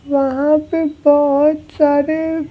वहाँ पे बहुत सारे--